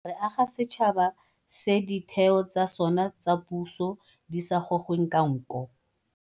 Re aga setšhaba se ditheo tsa sona tsa puso di sa gogweng ka nko